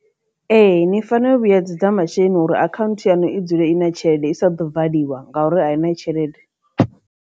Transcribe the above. Ee, ni fanela u vhuyedzedza masheleni uri akhanthu yanu i dzule i na tshelede i sa ḓo valiwa ngauri a i na tshelede.